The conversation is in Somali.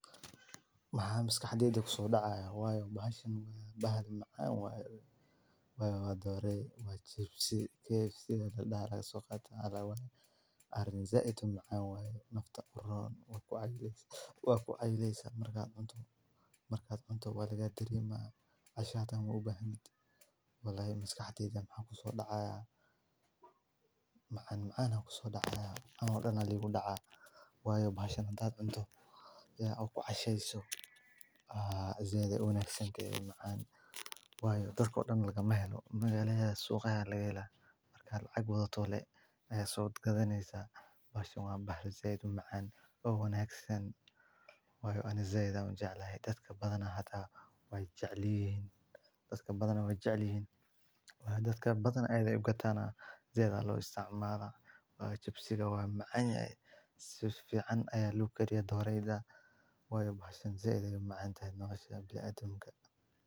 Waxa miski xaddida ku soo dhacaaya, waayo baa shan waa baahir macaan waayo. Waayo waa dooray waayo cipsiga KFC da dhaara suuqa taalla waayo. Aarni zeeyd u macaan waayo noofta urur waayo ku ay leysan markaad unta markaad unta waligaa tiri ma aashaatan wuu u baahan yid. Walaayo misk xaddida macaan ku soo dhacaaya macaan macaan ha ku soo dhacaya anigoo dhan ligu dhaca. Waayo baa shan taad unta iyo wa ku cayshayso aazayday u wanaagsan keeda macaan wayuu daro dhan laga mahlo. Magaalaya suuqaya laga eeyna markaad cag wada tolay ay soo gadhaneysa. Baa shan waayo baahir zeeyd u macaan u wanaagsan waayo aan zeeyda u jeclahay dadka badana hada waay jeclihin dadka badana waay jeclihin. Waayo dadka badan aydad oogataana zeeyda loo isticmaara. Waa cipsiga way macaan yeelay si fiican ayaa luu keliya doorayda waayo baa shan zeeyd u macaan taano nooshah biyo addinka.